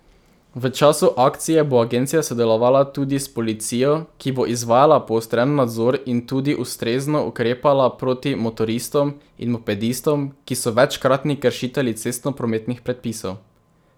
V času akcije bo agencija sodelovala tudi s policijo, ki bo izvajala poostren nadzor in tudi ustrezno ukrepala proti motoristom in mopedistom, ki so večkratni kršitelji cestno prometnih predpisov.